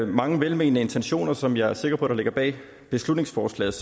mange velmente intentioner som jeg er sikker på ligger bag beslutningsforslaget